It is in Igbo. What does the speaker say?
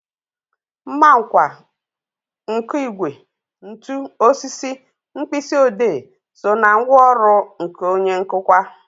Mmanka, nkụigwe, ntu, osisi, mkpịsị odee so ná ngwaọrụ onye nkụkwa